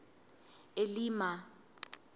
elima